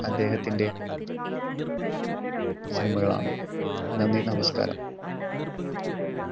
അദ്ദേഹത്തിൻറെ സിനിമകളാണ്. നന്ദി നമസ്ക്കാരം.